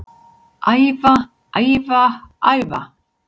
Æfa, æfa, æfa